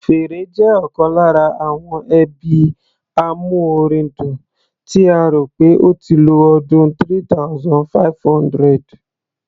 Fèrè jẹ́ ọ̀kan lára àwọn ẹbí amúorin dùn, tí a rò pé ó ti lo ọdún 3500.